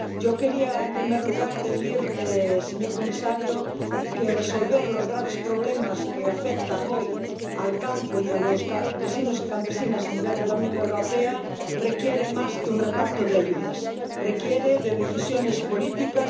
Yo quería, en primer lugar, decir, señor comisario, que resolver los graves problemas que afectan hoy al campo y a los campesinos y campesinas a nivel de la Unión Europea requiere más que un reparto de ayudas requiere de decisiones políticas